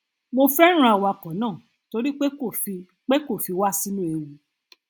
mo fẹràn awakọ náà torí pé kò fi pé kò fi wá sínú ewu